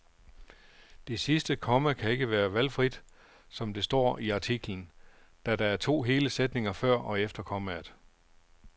Det sidste komma kan ikke være valgfrit, som der står i artiklen, da der er to hele sætninger før og efter kommaet.